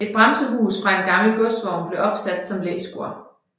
Et bremsehus fra en gammel godsvogn blev opsat som læskur